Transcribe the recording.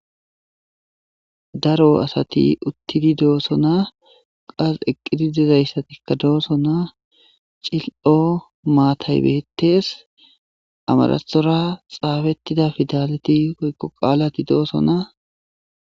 daro asati uttidi doosona qas eqqidi dizayssatikka doossona cil'o maataybettes amarathora xaafetida fidalti woykko qaalati doosona